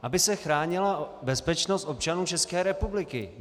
Aby se chránila bezpečnost občanů České republiky.